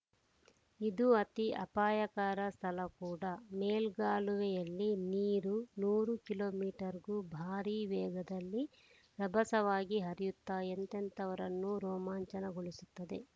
ಇದು ಅತಿ ಅಪಾಯಕರ ಸ್ಥಳ ಕೂಡಾ ಮೇಲ್ಗಾಲುವೆಯಲ್ಲಿ ನೀರು ನೂರು ಕಿಲೋ ಮೀಟರ್‌ಗೂ ಭಾರೀ ವೇಗದಲ್ಲಿ ರಭಸವಾಗಿ ಹರಿಯುತ್ತಾ ಎಂಥವರನ್ನೂ ರೋಮಾಂಚನ ಗೊಳಿಸುತ್ತದೆ